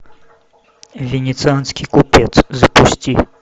венецианский купец запусти